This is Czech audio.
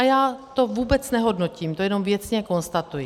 A já to vůbec nehodnotím, to jenom věcně konstatuji.